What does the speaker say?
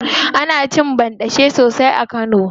Ana cin banɗace sosai a kano.